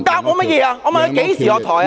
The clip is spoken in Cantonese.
我問他何時下台......